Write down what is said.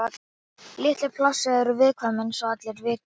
Lítil pláss eru viðkvæm eins og allir vita.